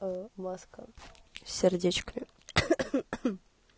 маска сердечками